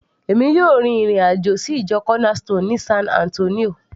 èmi yóò rin ìrìn àjò sí ìjọ corner stone ní san Antonio